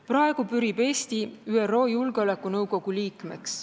Praegu pürib Eesti ÜRO Julgeolekunõukogu liikmeks.